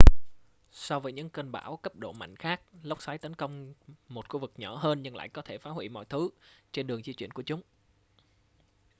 so với những cơn bão cấp độ mạnh khác lốc xoáy tấn công một khu vực nhỏ hơn nhưng lại có thể phá huỷ mọi thứ trên đường di chuyển của chúng